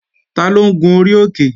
Taló ń gun orí òkè?